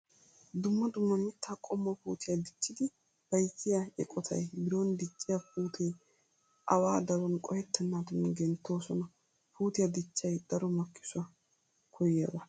Dumma dumma mittaa qommo puutiya dichchidi bayzziya eqotay biron dicciya puutee awa daruwan qohettennaadan genttidosona. Puutiya dichchay daro makkisuwa koyyiyaba.